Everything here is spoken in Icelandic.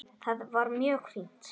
Það var mjög fínt.